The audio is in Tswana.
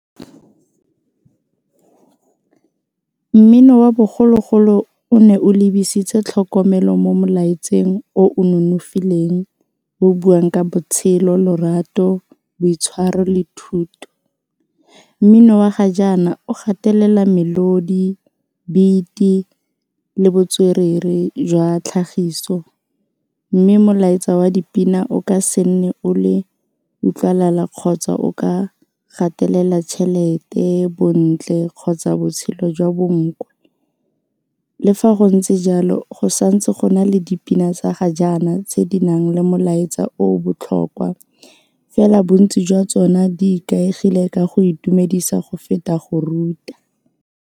Mmino wa bogologolo o ne o lebisitswe tlhokomelo mo molaetseng o o nonofileng o buang ka botshelo, lorato, boitshwaro le thuto, mmino wa ga jaana o gatelela melodi, beat-i le botswerere jwa tlhagiso mme molaetsa wa dipina o ka se nne o le kgotsa o ka gatelela tšhelete, bontle kgotsa botshelo jwa bonkwe le fa go ntse jalo go santse go na le dipina tsa ga jaana tse di nang le molaetsa o o botlhokwa fela bontsi jwa tsona di ikaegile ka go itumedisa go feta go ruta.